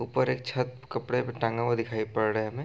ऊपर एक छत कपड़े भी टंगे हुए दिखाई पड़ रहे हैं हमें |